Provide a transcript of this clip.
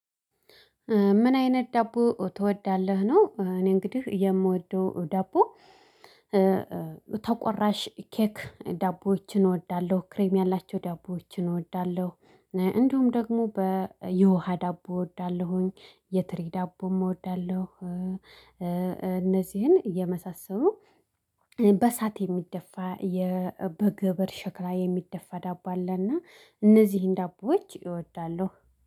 ምን አይነት ዳቦ ትወዳለህ ነው? እኔ እንግዲህ የምወደው ዳቦ ተቆራሽ ኬክ ዳቦዎችን እወዳለሁ ክሬም ያላቸው ዳቦዎችን እወዳለሁ። እንዲሁም ደግሞ በየውሃ ዳቦ እወዳለሁኝ የትሪ ዳቦም እወዳለሁ። እነዚህን የመሳሰሉ በሳት የሚደፋ በግብር ሽክራ የሚደፋ ዳቦ አለና እነዚህን ዳቦዎች እወዳለሁ